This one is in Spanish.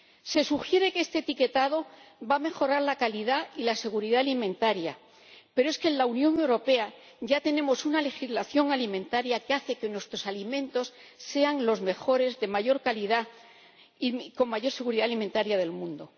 Se sugiere que este etiquetado va a mejorar la calidad y la seguridad alimentaria, pero es que en la Unión Europea ya tenemos una legislación alimentaria que hace que nuestros alimentos sean los mejores, de mayor calidad y con mayor seguridad alimentaria del mundo.